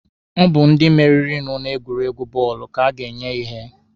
Ọ bụ ndi meririnụ na egwuregwu bọọlụ ka a ga-enye ihe.